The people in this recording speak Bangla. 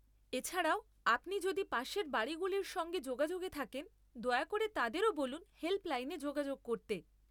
এছাড়াও, আপনি যদি পাশের বাড়িগুলির সঙ্গে যোগাযোগে থাকেন, দয়া করে তাদেরও বলুন হেল্পলাইনে যোগাযোগ করতে।